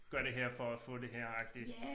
Gør det her for at få det her agtigt